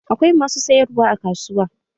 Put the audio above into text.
Akwai masu sayarwa a kasuwa